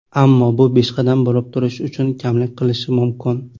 Ammo bu peshqadam bo‘lib turish uchun kamlik qilishi mumkin.